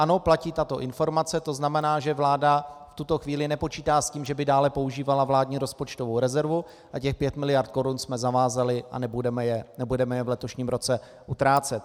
Ano, platí tato informace, to znamená, že vláda v tuto chvíli nepočítá s tím, že by dále používala vládní rozpočtovou rezervu, a těch pět miliard korun jsme zavázali a nebudeme je v letošním roce utrácet.